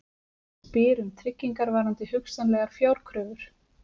Spyr um tryggingar varðandi hugsanlegar fjárkröfur